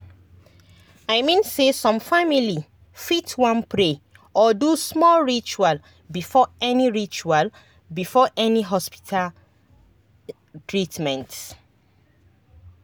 i mean say some family fit wan pray or do small ritual before any ritual before any hospita treatment